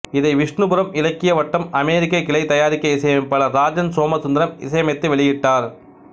இதை விஷ்ணுபுரம் இலக்கிய வட்டம்அமெரிக்க கிளை தயாரிக்க இசையமைப்பாளர் ராஜன் சோமசுந்தரம் இசையமைத்து வெளியிட்டார்